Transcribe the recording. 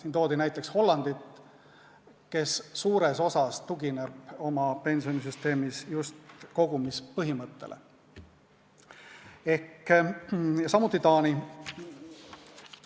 Siin toodi näiteks Hollandit, kes suures osas tugineb oma pensionisüsteemis just kogumispõhimõttele, samuti Taani.